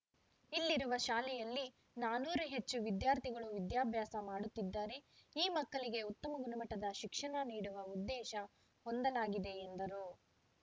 ಇಲ್ಲಿರುವ ಶಾಲೆಯಲ್ಲಿ ನಾನೂರು ಹೆಚ್ಚು ವಿದ್ಯಾರ್ಥಿಗಳು ವಿದ್ಯಾಭ್ಯಾಸ ಮಾಡುತ್ತಿದ್ದಾರೆ ಈ ಮಕ್ಕಳಿಗೆ ಉತ್ತಮ ಗುಣಮಟ್ಟದ ಶಿಕ್ಷಣ ನೀಡುವ ಉದ್ದೇಶ ಹೊಂದಲಾಗಿದೆ ಎಂದರು